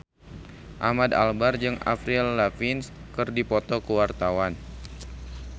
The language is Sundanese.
Ahmad Albar jeung Avril Lavigne keur dipoto ku wartawan